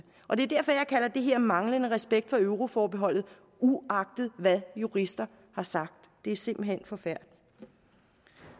og det er derfor at jeg kalder det her manglende respekt for euroforbeholdet uagtet hvad jurister har sagt det er simpelt hen forkert